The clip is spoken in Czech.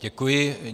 Děkuji.